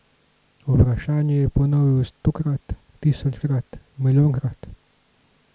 Vprašanje je ponovil stokrat, tisočkrat, milijonkrat.